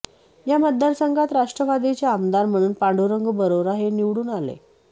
या मतदारसंघात राष्ट्रवादीचे आमदार म्हणून पांडुरंग बरोरा हे निवडून आले